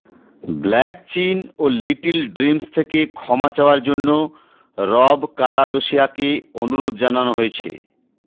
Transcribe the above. black Chyna ও Little Dreams থেকে ক্ষমা চাওয়ার জন্য রব কারাদশিয়াকে অনুরোধ জানানো হয়েছে